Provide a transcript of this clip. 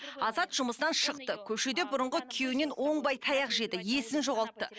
азат жұмыстан шықты көшеде бұрынғы күйеуінен оңбай таяқ жеді есін жоғалтты